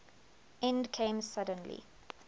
end came suddenly